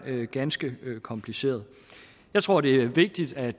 ganske kompliceret jeg tror det er vigtigt at